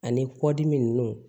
Ani kɔdimi